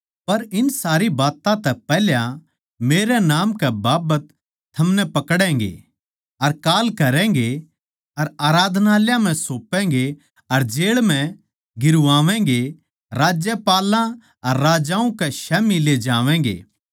पर इन सारी बात्तां तै पैहल्या मेरै नाम कै बाबत थमनै पकड़ैगें अर कांल करैगें अर आराधनालयाँ म्ह सौपैगें अर जेळ म्ह गिरवावैंगे राज्यपालों अर राजाओं कै स्याम्ही ले जावैंगे